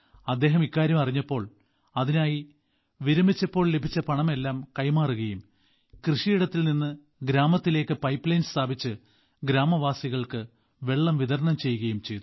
അദ്ദേഹം ഇക്കാര്യം അറിഞ്ഞപ്പോൾ താൻ വിരമിച്ചപ്പോൾ ലഭിച്ച പണമെല്ലാം അതിനായി കൈമാറുകയും കൃഷിയിടത്തിൽ നിന്ന് ഗ്രാമത്തിലേക്ക് പൈപ്പ് ലൈൻ സ്ഥാപിച്ച് ഗ്രാമവാസികൾക്ക് വെള്ളം വിതരണം ചെയ്യുകയും ചെയ്തു